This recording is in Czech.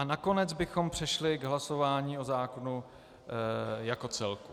A nakonec bychom přešli k hlasování o zákonu jako celku.